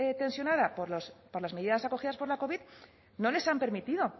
tensionada por las medidas acogidas por la covid no les han permitido